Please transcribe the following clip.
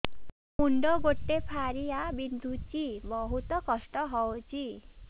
ମୁଣ୍ଡ ଗୋଟେ ଫାଳିଆ ବିନ୍ଧୁଚି ବହୁତ କଷ୍ଟ ହଉଚି